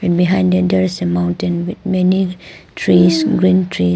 And behind them there is a mountain with many trees green tree.